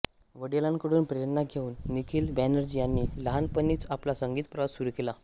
वडिलांकडून प्रेरणा घेउन निखील बॅनर्जी यांनी लहानपणीच आपला संगीत प्रवास सुरू केलं